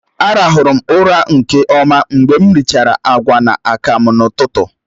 Á ràhụrụ m ụra nke ọma mgbe m richara agwa na akamu n'ụtụtụ